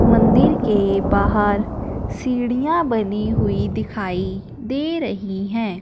मंदिर के बाहर सीढ़ियां बनी हुई दिखाई दे रही हैं।